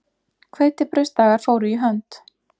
Hveitibrauðsdagar fóru í hönd.